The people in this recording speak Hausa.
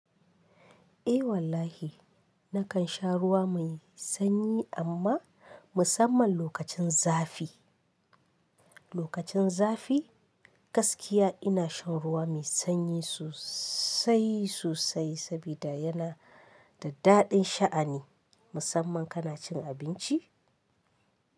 Eh wallahi, nakansha ruwa mai sanyi, amma musamman lokacin zafi lokacin zafi, gaskiya ina shan ruwa mai sanyi sosai sosai, sabida yana da daɗin sha'ani musamman kana cin abinci.